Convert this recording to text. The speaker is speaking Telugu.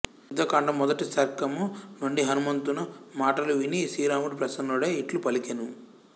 యుద్ధకాండము మొదటి సర్గము నుండి హనుమంతున మాటలు విని శ్రీరాముడు ప్రసన్నుడై ఇట్లు పలికెను